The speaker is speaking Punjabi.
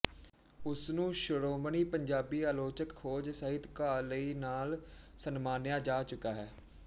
ਉਸਨੂੰ ਸ਼੍ਰੋਮਣੀ ਪੰਜਾਬੀ ਆਲੋਚਕ ਖੋਜ ਸਾਹਿਤਕਾਰ ਲਈ ਨਾਲ ਸਨਮਾਨਿਆ ਜਾ ਚੁੱਕਾ ਹੈ